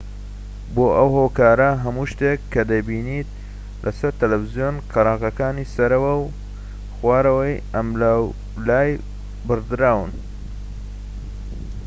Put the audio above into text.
بۆ ئەو هۆکارە هەموو شتێك کە دەیبینیت لەسەر تەلەڤیزۆن قەراغەکانی سەرەوە و خوارەوە و ئەملاولای بڕدراون